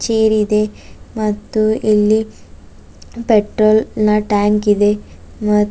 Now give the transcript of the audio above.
ಟೀರಿದೆ ಮತ್ತು ಇಲ್ಲಿ ಪೆಟ್ರೋಲ್ ನ ಟ್ಯಾಂಕ್ ಇದೆ ಮ--